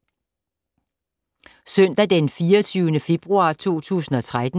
Søndag d. 24. februar 2013